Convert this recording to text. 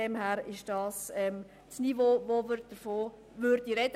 es ist das Niveau, von welchem wir sprechen.